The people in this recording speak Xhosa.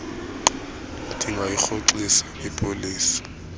q ndingayirhoxisa ipolisi